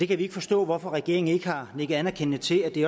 kan vi ikke forstå hvorfor regeringen ikke har nikket anerkendende til at det